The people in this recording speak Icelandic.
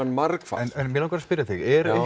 margfalt en mig langar að spyrja þig